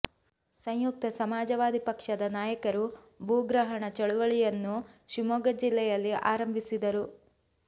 ಸಂಯುಕ್ತ ಸಮಾಜವಾದಿ ಪಕ್ಷದ ನಾಯಕರು ಭೂಗ್ರಹಣ ಚಳವಳಿಯನ್ನು ಶಿವಮೊಗ್ಗ ಜಿಲ್ಲೆಯಲ್ಲಿ ಆರಂಭಿಸಿದ್ದರು